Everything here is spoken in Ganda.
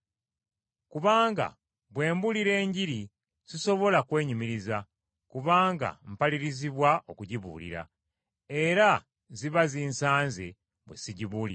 Kubanga bwe mbuulira Enjiri sisobola kwenyumiriza, kubanga mpalirizibwa okugibuulira. Era ziba zinsanze bwe sigibuulira.